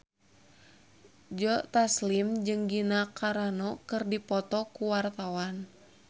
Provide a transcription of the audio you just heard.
Joe Taslim jeung Gina Carano keur dipoto ku wartawan